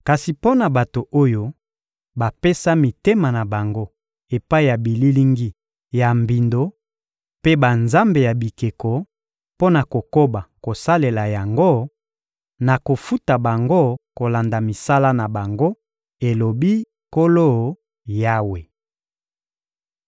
Kasi mpo na bato oyo bapesa mitema na bango epai ya bililingi ya mbindo mpe banzambe ya bikeko mpo na kokoba kosalela yango, nakofuta bango kolanda misala na bango, elobi Nkolo Yawe.»